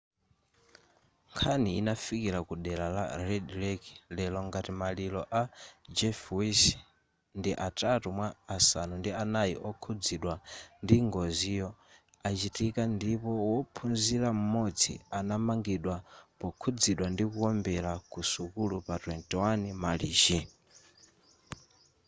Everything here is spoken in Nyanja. nkhani inafalikila ku dera la red lake lero ngati maliro a jeff weiss ndi atatu mwa asanu ndi anai okhuzidwa ndi ngoziyo achitika ndipo wophunzila m'modzi anamangidwa pokhuzidwa ndi kuombera ku sukulu pa 21 marichi